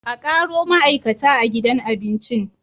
Akaro ma'aikata a gidan abincin